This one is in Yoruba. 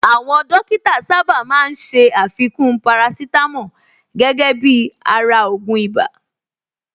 Àwọn Dókítà sáábà máa ń ṣé àfikún parasítámọ̀ gẹ́gẹ́ bíi ara ògùn ibà